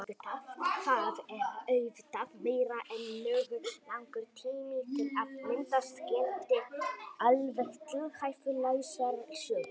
Það er auðvitað meira en nógu langur tími til að myndast geti alveg tilhæfulausar sögur.